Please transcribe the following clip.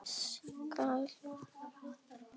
Næstu skref?